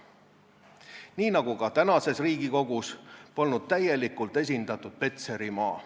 Nii nagu ka praeguses Riigikogus, polnud täielikult esindatud Petserimaa.